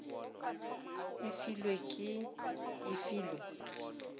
e filwe ke e filwe